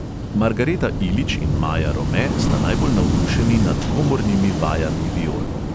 Margareta ilič in maja rome sta najbolj navdušeni nad komornimi vajami viol.